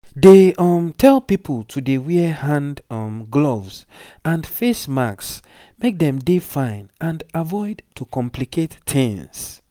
dem um tell pipo to dey wear hand um gloves and face masks make dem dey fine and avoid to complicate tings